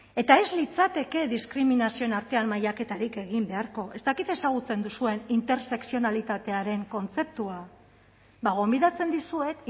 eta ez litzateke diskriminazioen artean mailaketarik egin beharko ez dakit ezagutzen duzuen intersekzionalitatearen kontzeptua bada gonbidatzen dizuet